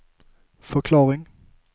förklaring